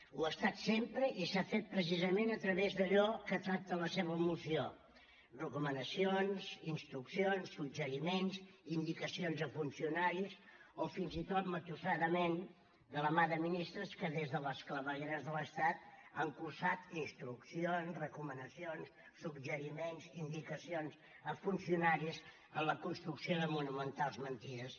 ho ha estat sempre i s’ha fet precisament a través d’allò que tracta la seva moció recomanacions instruccions suggeriments indicacions a funcionaris o fins i tot matusserament de la mà de ministres que des de les clavegueres de l’estat han cursat instruccions recomanacions suggeriments indicacions a funcionaris en la construcció de monumentals mentides